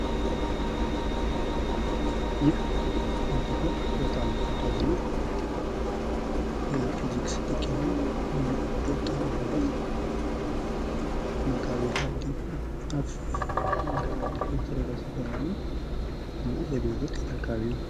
ይህ በኢትዮጵያ በጣም ተወዳጅ እና የፊዚክስ ሊቅ የሆነዉ ዶ/ር ሮዳስ መጋቤ ሀዲስ ዶ/ር ሮዳስ ይባላሉ። እና ይህ አገልግሎት የት አካባቢ ነዉ?